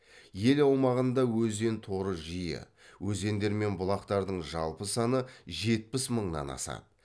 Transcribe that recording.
ел аумағында өзен торы жиі өзендер мен бұлақтардың жалпы саны жетпіс мыңнан асады